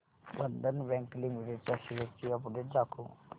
बंधन bank limited च्या shares ची update दाखव